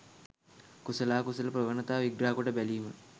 කුසලාකුසල ප්‍රවණතා විග්‍රහකොට බැලීම